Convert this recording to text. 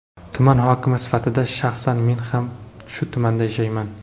Tuman hokimi sifatida shaxsan men ham shu tumanda yashayman.